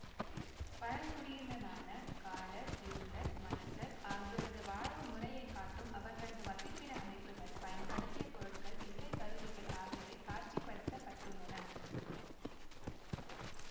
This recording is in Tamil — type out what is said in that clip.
பழங்குடியினரான காடர் இருளர் மலசர் ஆகியோரது வாழ்வுமுறையைக் காட்டும் அவர்களது வசிப்பிட அமைப்புகள் பயன்படுத்திய பொருட்கள் இசைக்கருவிகள் ஆகியவை காட்சிப்படுத்தப்பட்டுள்ளன